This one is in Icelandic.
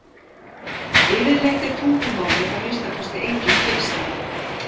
Yfirleitt er tungumálið að minnsta kosti engin fyrirstaða.